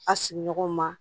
A sigiɲɔgɔn ma